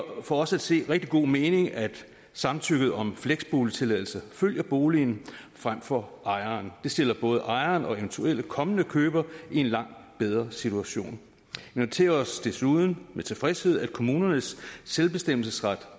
for os at se rigtig god mening at samtykket om fleksboligtilladelse følger boligen frem for ejeren det stiller både ejeren og eventuelle kommende købere i en langt bedre situation vi noterer os desuden med tilfredshed at kommunernes selvbestemmelsesret